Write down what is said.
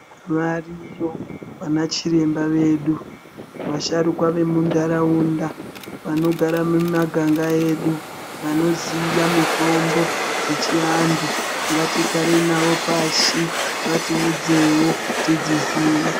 Variyo vanachiremba vedu vasharukwa vemundaraunda vanogara mumaganga edu vanoziya mitombo dzechiantu ngatigarei navo pashi vatiudzewo tidziziye.